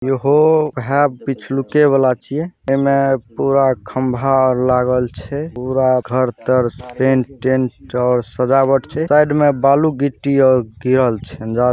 ईहो ऊहे पिच्छ लुके वाला छै। ऐमे पूरा खंभा आर लागल छै। पूरा घर तर पेंट टेंट और सजावट छै। साइड में बालू गिट्टी आर गिरल छै और--